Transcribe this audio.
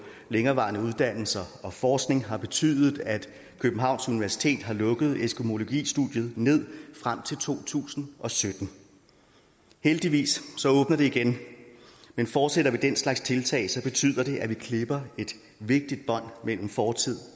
længerevarende uddannelser og forskning har betydet at københavns universitet har lukket eskimologistudiet ned frem til to tusind og sytten heldigvis åbner det igen men fortsætter vi med den slags tiltag så betyder det at vi klipper et vigtigt bånd mellem fortid